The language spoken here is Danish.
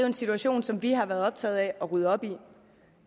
en situation som vi har været optaget af at rydde op i